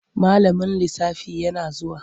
Malamin lisafi yana zuwa.